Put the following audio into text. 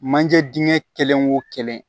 Manje dingɛ kelen o kelen